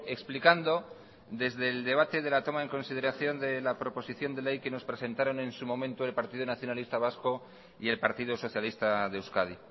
explicando desde el debate de la toma en consideración de la proposición de ley que nos presentaron en su momento el partido nacionalista vasco y el partido socialista de euskadi